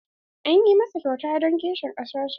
An yi masa kyauta don kishin ƙasar sa.